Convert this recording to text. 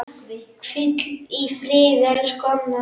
Hvíl í friði, elsku Anna.